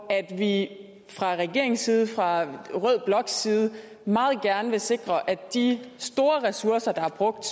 at vi fra regeringens side og fra rød bloks side meget gerne vil sikre at de store ressourcer der er brugt